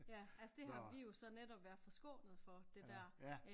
Ja altså det har vi jo så netop været forskånet for det der øh